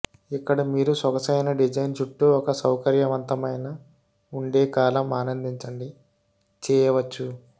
ఇక్కడ మీరు సొగసైన డిజైన్ చుట్టూ ఒక సౌకర్యవంతమైన ఉండే కాలం ఆనందించండి చేయవచ్చు